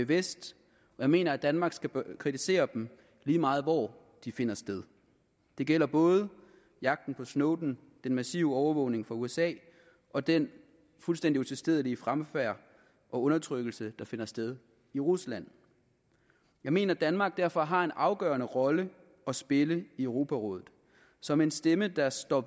vest jeg mener at danmark skal kritisere dem lige meget hvor de finder sted det gælder både jagten på snowden den massive overvågning fra usa og den fuldstændig utilstedelige fremfærd og undertrykkelse der finder sted i rusland jeg mener at danmark derfor har en afgørende rolle at spille i europarådet som en stemme der står